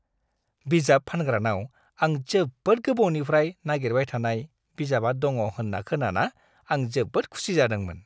बिजाब फानग्रानाव आं जोबोद गोबावनिफ्राय नागिरबाय थानाय बिजाबा दङ होन्ना खोनाना आं जोबोद खुसि जादोंमोन।